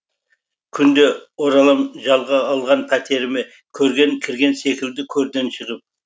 күнде оралам жалға алған пәтеріме көрге кірген секілді көрден шығып